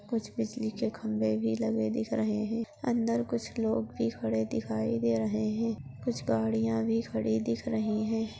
कुछ बिजली के खम्बे भी लगे दिख रहे है अंदर कुछ लोग भी खड़े दिखाई दे रहे है कुछ गाड़िया भी खड़ी दिख रही है।